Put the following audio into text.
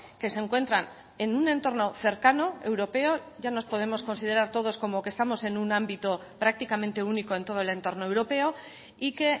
que se encuentran en un entorno cercano europeo ya nos podemos considerar todos como que estamos en un ámbito prácticamente único en todo el entorno europeo y que